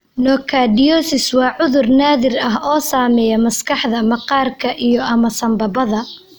Nocardiosis waa cudur naadir ah oo saameeya maskaxda, maqaarka, iyo/ama sambabada.